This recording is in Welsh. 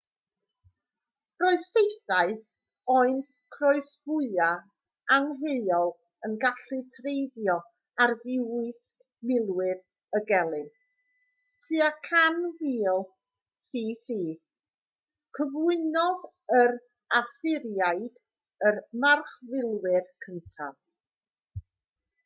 roedd saethau o'u croesfwâu angheuol yn gallu treiddio arfwisg milwyr y gelyn tua 1000 c.c. cyflwynodd yr asyriaid y marchfilwyr cyntaf